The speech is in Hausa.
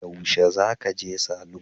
Yaushe za ka je salon?